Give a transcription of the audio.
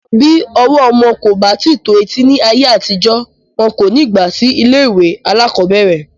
Bí ọwọ́ọ̀ ọmọ kò bá tíì tó etí ní ayé àtijó, wọn kò ní gbà sí ilé-ìwé alákọ̀ọ́bẹ̀rẹ̀